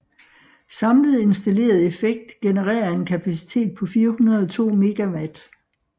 Samlet installeret effekt genererer en kapacitet på 402 MW